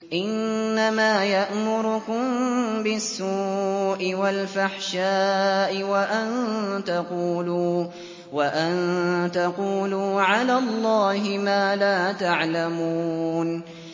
إِنَّمَا يَأْمُرُكُم بِالسُّوءِ وَالْفَحْشَاءِ وَأَن تَقُولُوا عَلَى اللَّهِ مَا لَا تَعْلَمُونَ